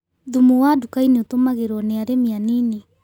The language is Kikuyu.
Thumu wa dukainĩ ũtũmagĩrwo nĩi arĩmi anini